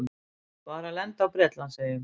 Var að lenda í Bretlandseyjum.